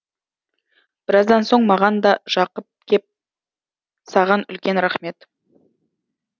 біраздан соң маған да жақып кеп саған үлкен рахмет